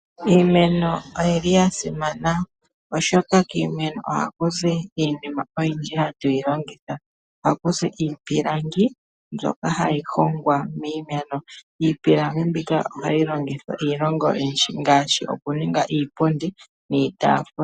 Iimeno oyi li ya simana oshoka kiimeno ohakuzi iinima oyindji hatu yilongitha. Oha kuzi iipilangi mbyoka hayi hongwa miimeno. Iipilangi mbika ohayi longithwa iilonga oyindji ngaashi okuninga iipundi niitaafula.